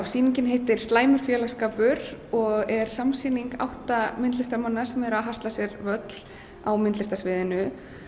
sýningin heitir slæmur félagsskapur og er samsýning átta myndlistarmanna sem eru að hasla sér völl á myndlistarsviðinu